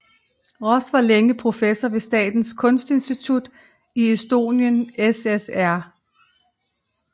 Roos var længe professor ved Statens Kunstinstitut i Estonian SSR